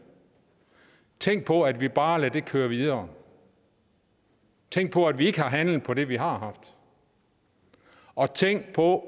tænk på at vi bare lader det køre videre tænk på at vi ikke har handlet på det vi har haft og tænk på